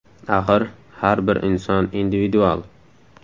Axir, har bir inson individual.